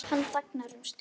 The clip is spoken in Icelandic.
Hann þagnar um stund.